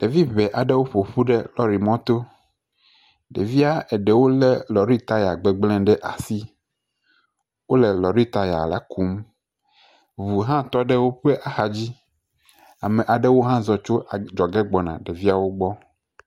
Ɖevi ŋɛ aɖewo le mɔto. Ɖevia ɖewo le taya gbegblẽ ɖe asi. Wole lɔrri taya la kum. Ŋu hã tɔ ɖe woƒe axa dzi. Ame aɖewo hã zɔ gbɔna ɛeviawo gbɔ.